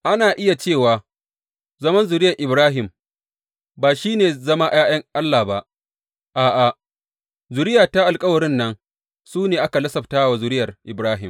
Ana iya cewa zaman zuriyar Ibrahim, ba shi ne zama ’ya’yan Allah ba, a’a, zuriya ta alkawarin nan su ne ake lasaftawa zuriyar Ibrahim.